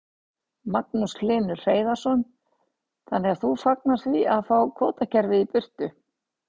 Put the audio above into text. Magnús Hlynur Hreiðarsson: Þannig að þú fagnar því að fá kvótakerfið í burtu?